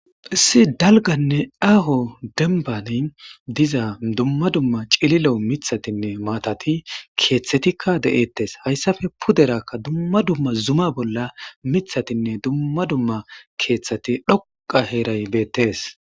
issi dalganne aaho denbani diza dumma dumma cililo mithatinne maatati keeththetikka de7ettes hayssafe puderakka dumma dumma zuma bolla mithatinne dumma dumma keeththati dhoqa heeray beettes